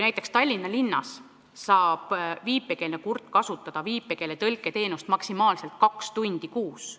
Näiteks Tallinna linnas saab viipekeelne kurt kasutada viipekeeletõlke teenust maksimaalselt kaks tundi kuus.